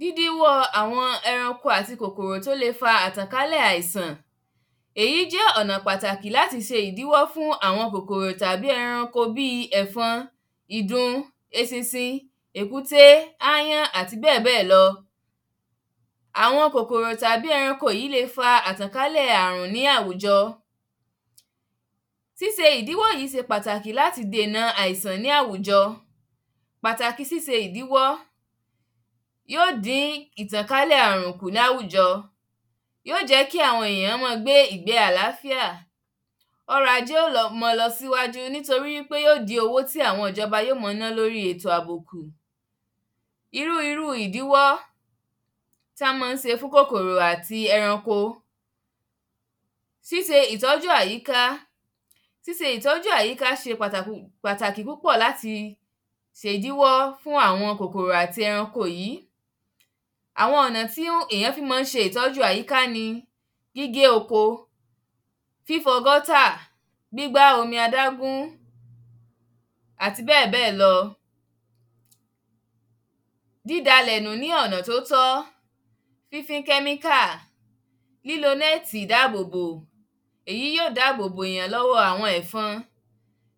dídíwọ́ àwọn ẹranko àti kòkòrò tí ó le fa àjàkálẹ̀ àìsàn, èyí jẹ́ ọ̀nà pàtàkì láti se ìdíwọ́ fún àwọn kòkòrò tàbí ẹranko bíi ẹ̀fọn, ìdun, eṣinṣin, èkúté, áyán, àti bẹ́ẹ̀bẹ́ẹ̀ lọ. àwọn kòkòrò tàbí ẹranko yí le fa àjàkálẹ̀ àrùn ní àwùjọ, síse ìdíwọ́ yìí se pàtàkì láti dènà àìsàn ní àwùjọ, pàtàkì síse ìdíwọ́, yóò dín àjàkálẹ̀ kù ní àwùjọ, yóò jẹ́ kí àwọn èyàn ma gbé ìgbé àláfíà, ọrọ̀ ajé ó ma lọ sókè nítorí wípé yóò dín owó tí áwọn ìjọba yó ma ná lórí ètò àbò kù. Irú irú ìdíwọ́ tí wọ́n má n se fún kòkòrò àti eranko, síse ìtọ́jú àyíká, síse ìtọ́jú àyíká, síse ìtọ́jú àyíká se pàtàkì púpọ̀ láti se ìdíwọ́ fún àwọn kòkòrò àti ẹranko yìí. àwọn ọ̀nà tí èyàn fi má n se ìtọ́jú àyíká ní gígé oko, fífọ gútà gbígbá omi adágún àti béèbéè lọ. dída ilẹ̀ nù lọ́nà tó tọ́, fífín kẹ́míkà lílo nẹti ìdábóbó, èyí ó dáàbòbo èyàn lọ́wọ́ àwọn ẹ̀fọn,,